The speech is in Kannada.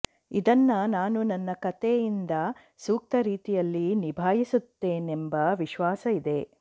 ಇದನ್ನ ನಾನು ನನ್ನ ಕತೆಯಿಂದ ಸೂಕ್ತ ರೀತಿಯಲ್ಲಿ ನಿಭಾಯಿಸುತ್ತೇನೆಂಬ ವಿಶ್ವಾಸ ಇದೆ